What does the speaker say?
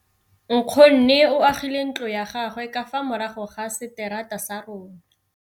Nkgonne o agile ntlo ya gagwe ka fa morago ga seterata sa rona.